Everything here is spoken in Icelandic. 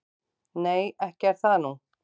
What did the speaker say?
"""Nei, ekki er það nú."""